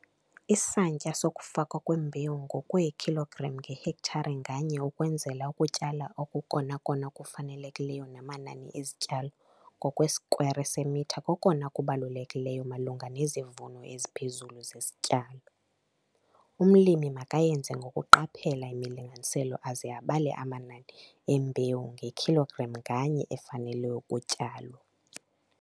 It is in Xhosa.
Isantya sokufakwa kwembewu ngokweekhilogram ngehektare nganye ukwenzela ukutyala okukokona kufanelekileyo namanani ezityalo ngokwesikwere semitha kokona kubalulekileyo malunga nezivuno eziphezulu zesityalo. Umlimi makayenze ngokuqaphela imilinganiselo aze abale amanani embewu ngekhilogram nganye efanele ukutyalwa.